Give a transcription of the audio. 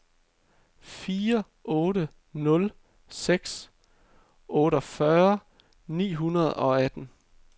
fire otte nul seks otteogfyrre ni hundrede og atten